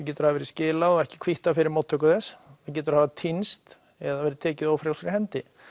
getur hafa verið skilað og ekki kvittað fyrir mótttöku þess það getur hafa týnst eða verið tekið ófrjálsri hendi